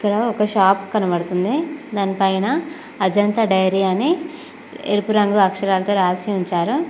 ఒక షాప్ కనబడుతుంది దానిపైన అజంతా డైరీ అని ఎరుపు రంగు అక్షరాలతో రాసి ఉంచారు.